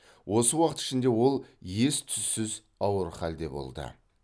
осы уақыт ішінде ол ес түссіз ауыр халде болды